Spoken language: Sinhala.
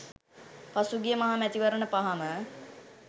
පසුගිය මහ මැතිවරණ පහම